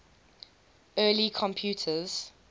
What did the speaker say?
early computers